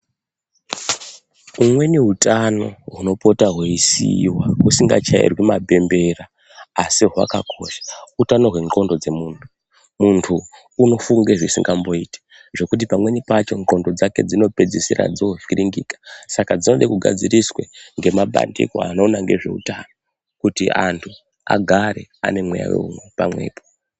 Umweni neutano hunopota hweiisiwa husingatyairwi mapembera asi hwakakosha utano hwendxondo dzemuntu muntu unofunge zvisingamboiti zvekuti pamweni pacho ndxondo dzake dzinopedzisira dzovhirinhika saka dzinode kugadziriswa ngemabandiko anoona ngezveutano kuti antu agare ane mweya weu mwega mwega.